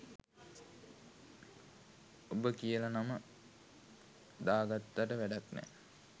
උබ කියල නම දාගත්තට වැඩක්නැ